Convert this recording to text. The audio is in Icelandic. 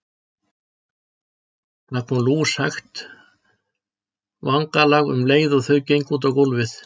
Það kom lúshægt vangalag um leið og þau gengu út á gólfið.